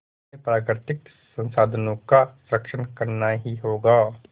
हमें प्राकृतिक संसाधनों का संरक्षण करना ही होगा